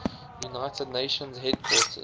united nations headquarters